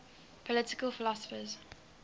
political philosophers